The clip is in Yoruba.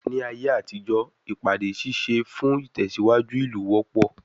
Ní ayé àtijó, ìpàdé ṣíṣe fún ìtẹ̀síwájú ìlú wọ́pọ̀.